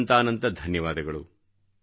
ಅನಂತಾನಂತ ಧನ್ಯವಾದಗಳು